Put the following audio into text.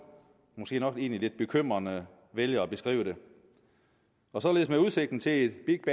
måske egentlig nok lidt bekymrede vælger at beskrive det og således med udsigten til et big